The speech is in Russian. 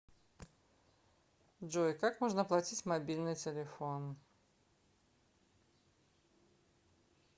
джой как можно оплатить мобильный телефон